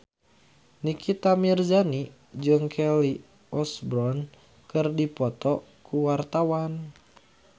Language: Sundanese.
Nikita Mirzani jeung Kelly Osbourne keur dipoto ku wartawan